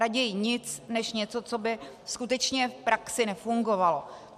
Raději nic než něco, co by skutečně v praxi nefungovalo.